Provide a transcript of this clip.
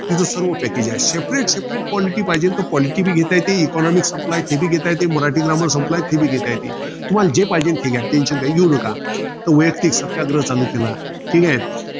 तिथं सर्व package आहे. Separate separate quality पाहिजेल तर quality घेता येती. Economics संपलाय ते बी घेता येती. मराठी grammar संपलाय ते बी घेता येती. तुम्हाला जे पाहिजेल ते घ्या. Tension काय घेऊ नका. तर वैयक्तिक सत्याग्रह चालू केला. ठीके?